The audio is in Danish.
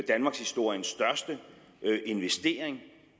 danmarkshistoriens største investering